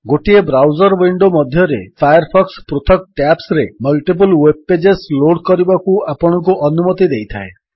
ଗୋଟିଏ browser window ମଧ୍ୟରେ Firefox ପୃଥକ ଟ୍ୟାବ୍ସରେ ମଲ୍ଟିପଲ୍ ୱେବ୍ ପେଜେସ୍ ଲୋଡ୍ କରିବାକୁ ଆପଣଙ୍କୁ ଅନୁମତି ଦେଇଥାଏ